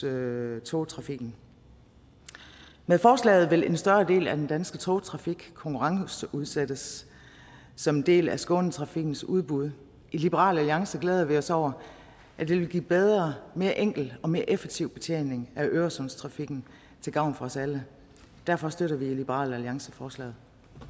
øresundstrafikken med forslaget vil en større del af den danske togtrafik konkurrenceudsættes som en del af skånetrafikens udbud i liberal alliance glæder vi os over at det vil give bedre mere enkel og mere effektiv betjening af øresundstrafikken til gavn for os alle derfor støtter vi i liberal alliance forslaget